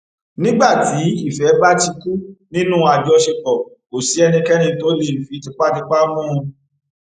nígbà tí ìfẹ bá ti kú nínú àjọṣepọ kò sí ẹnikẹni tó lè fi tipátipá mú un